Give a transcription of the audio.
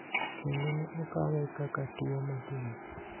kendo ne okawe kaka tuo matin